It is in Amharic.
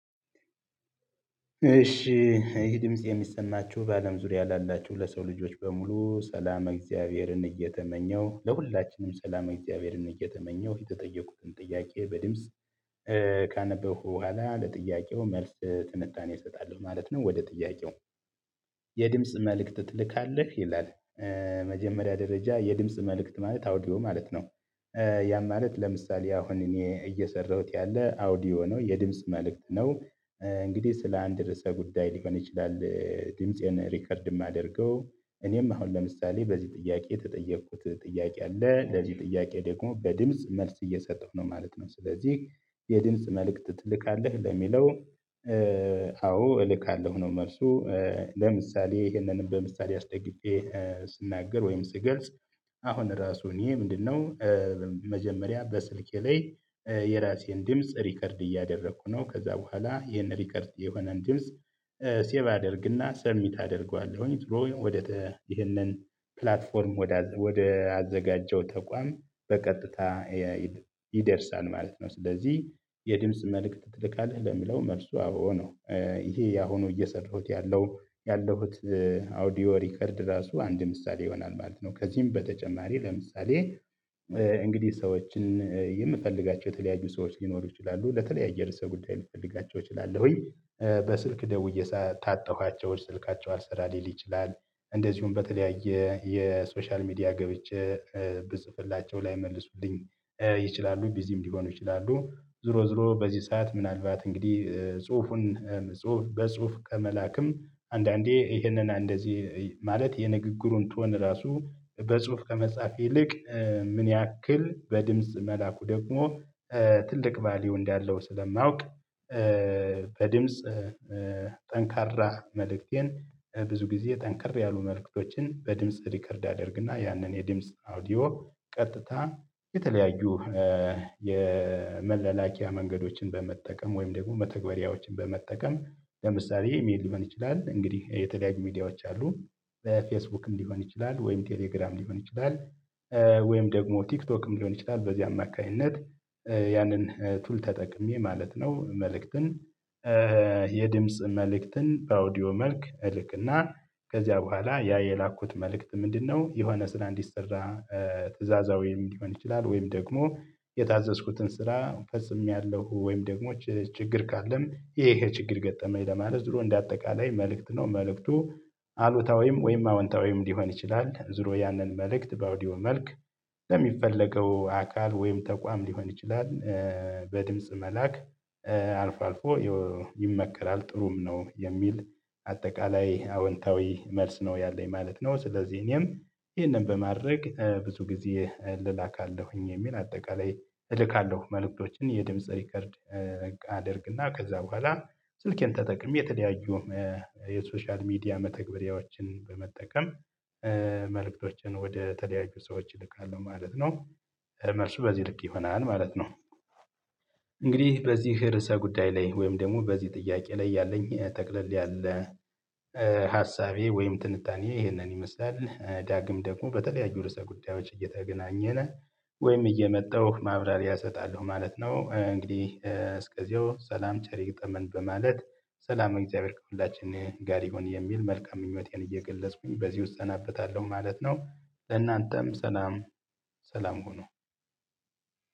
እሺ ይሄ ድምጽ የሚሰናችሁ በአለም ዙሪያ ላላችሁ ለሰው ልጆች በሙሉ ሰላም እግዚአብሔርን እየተመኘው ለሁላችንም ሰላም እግዚአብሔርን እየተመኘው የተጠየቁትን ጥያቄ በድምጽ ካነበብኩ በኋላ ለጥያቄው መልስ ትንጣኔ እሰጣለሁ ማለት ነው። ወደ ጥያቄው? የድምጽ መልእክት ትልካለህ ይላል። መጀመሪያ ደረጃ የድምጽ መልእክት ማለት አውዲኦ ማለት ነው። ያም ማለት ለምሳሌ አሁን እኔ እየሰራሁት ያለ አውዲዮ ነው የድምጽ መልእክት ነው። እንግዲህ ስለ አንድ ርዕሰ ጉዳይ ሊሆን ይችላል ድምፄን ሪከርድ የማደርገው። እኔም አሁን ለምሳሌ በዚህ ጥያቄ የተጠየኩት ጥያቄ አለ ለዚህ ጥያቄ ደግሞ በድምጽ መልስ እየሰጠሁ ነው ማለት ነው። ስለዚህ የድምጽ መልእክት ትልካለህ ለሚለው አዎ እልካለሁ ነው መልሱ። ለምሳሌ ይሄንንም በምሳሌ አስጠግቼ ስናገር ወይም ስገልጽ አሁን ራሱን እኔ ምንድነው? መጀመሪያ በስልኬ ላይ የራሴን ድምጽ ሪከርድ እያደረኩ ነው ከዛ በኋላ ይሄን ሪከርድ የሆነን ድምጽ። ሴቭ አደርግና ሰሚት አደርገዋለሁኝ ወደ ይሄንን ፕላትፎርም ወደ አዘጋጀው ተቋም በቀጥታ ይደርሳል ማለት ነው። ስለዚህ የድምጽ መልእክት ትልካለህ ለሚለው መልሱ አዎ ነው። ይሄ ያሁኑ እየሰራሁት ያለሁት አውዲዮ ሪከርድ ራሱ አንድ ምሳሌ ይሆናል ማለት ነው። ከዚህም በተጨማሪ ለምሳሌ እንግዲህ ሰዎችን የምፈልጋቸው የተለያዩ ሰዎች ሊኖሩ ይችላሉ ለተለያየ ርዕሰ ጉዳይ ሊፈልጋቸው ይችላሉ ወይ በስልክ ደውዬ ታጣኋቸው ስልካቸው አልሰራ ሊል ይችላል። እንደዚሁም በተለያየ የሶሻል ሚዲያ ገብቼ ብጽፍላቸው ላይመልሱልኝ ይችላሉ ቢዚም ሊሆኑ ይችላሉ። ዞሮ ዞሮ በዚህ ሰዓት ምናልባት እንግዲህ ጽሁፉን ጽሁፍ በጽሁፍ ከመላክም አንዳንዴ ይህንን አንደዚህ ማለት የንግግሩን ቶን ራሱ በጽሁፍ ከመጻፍ ይልቅ ምን ያክል በድምጽ መላኩ ደግሞ ትልቅ ቫልዩ እንዳለው ስለማውቅ። በድምጽ ጠንካራ መልእክቴን ብዙ ጊዜ ጠንክር ያሉ መልእክቶችን በድምጽ ሪከርድ አደርግና ያንን የድምጽ አውዲዮ ቀጥታ የተለያዩ የመለላኪያ መንገዶችን በመጠቀም ወይም ደግሞ መተግበሪያዎችን በመጠቀም ለምሳሌ ኢሜል ሊመን ይችላል እንግዲህ የተለያዩ ሚዲያዎች አሉ በፌስቡክ እንዲሆን ይችላል ወይም ቴሌግራም ሊሆን ይችላል። ወይም ደግሞ ቲክቶክም ሊሆን ይችላል በዚህ አማካኝነት ያንን ቱል ተጠቅሜ ማለት ነው። መልእክትን የድምጽ መልእክትን በአውዲዮ መልክ እልክና ከዚያ በኋላ ያ የላኩት መልእክት ምንድነው? የሆነ ስራ እንዲሰራ ትእዛዛ ወይም ሊሆን ይችላል ወይም ደግሞ የታዘዝኩትን ስራ ፈጽሜያለሁ ወይም ደግሞ ችግር ካለም ይሄ ይሄ ችግር ገጠመኝ ለማለት ይሁን እንደ አጠቃላይ መልእክት ነው። መልእክቱ አሉታ ወይም ወይም አወንታ ወይም ሊሆን ይችላል ዙሮ ያንን መልእክት በአውዲዮ መልክ ለሚፈለገው አካል ወይም ተቋም ሊሆን ይችላል። በድምጽ መላክ አልፎ አልፎ ይመከራል ጥሩም ነው የሚል አጠቃላይ አወንታዊ መልስ ነው ያለኝ ማለት ነው። ስለዚህ እኔም ይሄንን በማድረግ ብዙ ጊዜ ልላካለሁኝ የሚል አጠቃላይ እልካለሁ መልእክቶችን የድምጽ ሪከርድ አደርግና ከዛ በኋላ ስልኬን ተጠቅሜ የተለያዩ የሶሻል ሚዲያ መተግበሪያዎችን በመጠቀም መልእክቶችን ወደ ተለያዩ ሰዎች እልካለሁ ማለት ነው። መልሱ በዚህ ልክ ይሆናል ማለት ነው። እንግዲህ በዚህ ርዕሰ ጉዳይ ላይ ወይም ደግሞ በዚህ ጥያቄ ላይ ያለኝ ጠቅለል ያለ ሀሳቤ ወይም ትንታኔ ይሄንን ይመስላል ዳግም ደግሞ በተለያዩ ርዕሰ ጉዳዮች እየተገናኘነ ወይም እየመጣሁ ማብራሪያ እሰጣለሁ ማለት ነው። እንግዲህ እስከዚያው ሰላም ቸር ይግጠመን በማለት ሰላም እግዚአብሔር ከሁላችን ጋር ይሁን የሚል መልካም ምኞቴን እየገለጽኩኝ በዚህ እወዛበታለሁ ማለት ነው። ለእናንተም ሰላም። ሰላም ሆኑ።